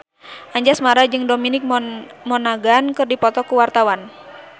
Anjasmara jeung Dominic Monaghan keur dipoto ku wartawan